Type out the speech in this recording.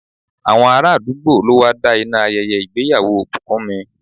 Àwọn ará àdúgbò ló wá da iná ayẹyẹ ìgbéyàwó Bukunmi.